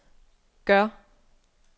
gør